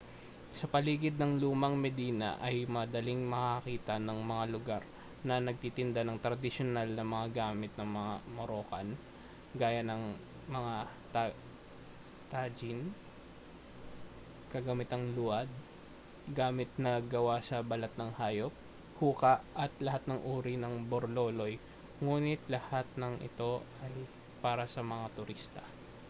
sa paligid ng lumang medina ay madaling makakakita ng mga lugar na nagtitinda ng tradisyonal na mga gamit na moroccan gaya ng mga tagine kagamitang luwad gamit na gawa sa balat ng hayop hookah at lahat ng uri ng borloloy nguni't ang lahat ng ito ay para sa mga turista